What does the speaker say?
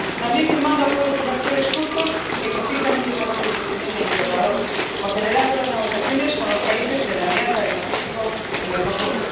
También firmando acuerdos comerciales justos que propician un desarrollo sostenible e integrador, o celebrando las negociaciones con los países de la Alianza del Pacífico o Mercosur.